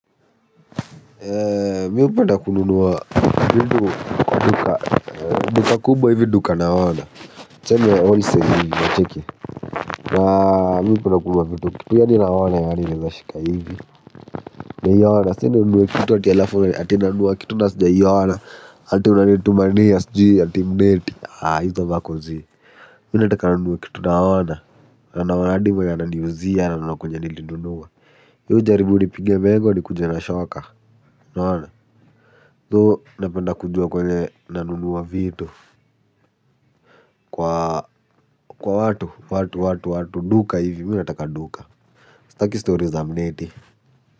Mimi hupenda kununua vitu kwa duka duka kubwa hivi duka naona. Tuseme wholesale hivi unacheki. Na mimi hupenda kununua vitu kitu yaani naona yaani naweza shika hivi. Naiona si aty ununue kitu ati alafu ati nanunua kitu na sijaiona. Ati unanitumania sijui ati mneti. Hizo vako zii. Mimi nataka ninunue kitu naona. Naona hadi mwenye ananiuzia na naona kwenye nilinunua. We ujaribu unipinge mego nikuje na shoka. Unaona. So napenda kujua kwenye nanunua vitu kwa watu watu watu watu duka ivi mimi nataka duka. Sitaki stori za mneti.